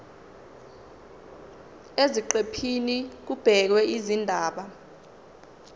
eziqephini kubhekwe izindaba